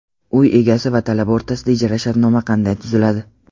Uy egasi va talaba o‘rtasida ijara shartnomasi qanday tuziladi?.